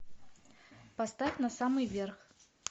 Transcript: поставь на самый верх